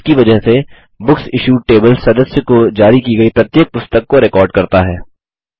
इसकी वजह से बुकसिश्यूड टेबल सदस्य को जारी की गयी प्रत्येक पुस्तक को रिकॉर्ड करता है